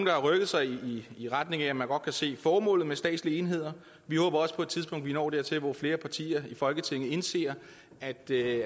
har rykket sig i retning af at man godt kan se formålet med statslige enheder vi håber også på et tidspunkt når dertil hvor flere partier i folketinget indser at det